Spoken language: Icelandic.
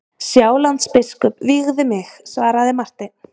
Sjálandsbiskup vígði mig, svaraði Marteinn.